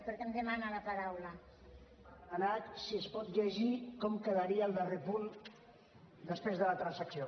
per demanar si es pot llegir com quedaria el darrer punt després de la transacció